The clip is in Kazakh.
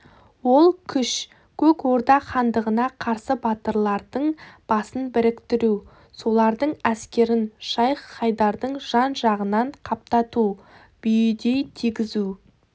ол күш көк орда хандығына қарсы батырлардың басын біріктіру солардың әскерін шайх-хайдардың жан-жағынан қаптату бүйідей тигізу